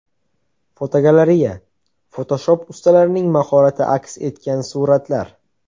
Fotogalereya: Fotoshop ustalarining mahorati aks etgan suratlar.